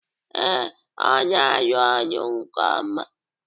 Ee, ọ na-arụ ọrụ nke ọma.